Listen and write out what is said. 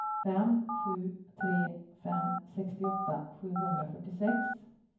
fem sju tre fem sextioåtta sjuhundrafyrtiosex